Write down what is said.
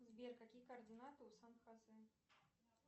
сбер какие координаты у сан хосе